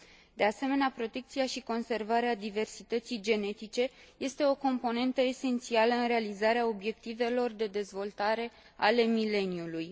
De asemenea, protecția și conservarea diversității genetice este o componentă esențială în realizarea Obiectivelor de Dezvoltare ale Mileniului.